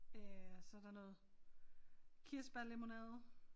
Øh og så der noget kirsebærlemonade